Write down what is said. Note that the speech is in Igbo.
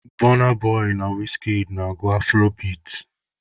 Bọna boị na wizkid na-agụ afurobeat.